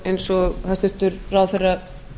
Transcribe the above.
eins og hæstvirtur ráðherra